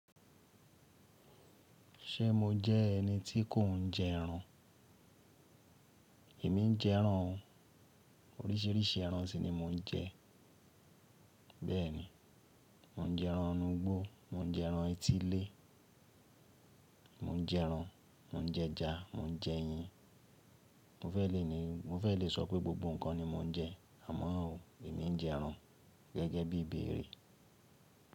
Ṣé mo jẹ́ ẹni tí kò ń jẹ ẹran? Èmi ń jẹ ẹran o. Oríṣiríṣi ẹran sì ni mò ń jẹ. Bẹ́ẹ̀ ni, mò ń jẹ ẹran inúgbó, mò ń jẹ ẹran etílé, mò ń jẹ ẹran, mò ń jẹ ẹja, mò ń jẹ eyín. Mo fẹ́ lè ní, mo fẹ́ lè sọ pé gbogbo ǹkan ni mò ń jẹ, àmọ́ ò, èmi ń jẹ ẹran gẹ́gẹ́ bí i ibere.